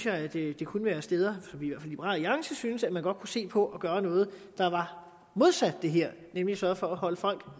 at det kunne være steder som vi i liberal alliance synes at man godt kunne se på at gøre noget der var modsat det her nemlig sørge for at holde folk